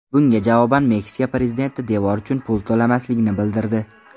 Bunga javoban Meksika prezidenti devor uchun pul to‘lamasligini bildirdi .